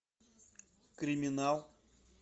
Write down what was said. криминал